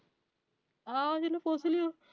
ਆਹੋ ਜਿਹਨੂੰ ਪੁੱਛ ਲਿਆਓ।